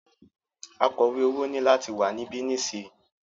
Akọ̀wẹ́ owó ní láti wà níbí nísìyí!